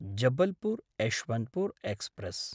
Jabalpur Yesvantpur express